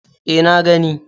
E, na gani.